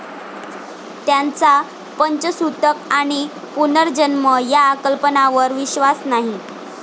त्यांचा पंचसुतक आणि पुनर्जन्म या कल्पनावर विश्वास नाही.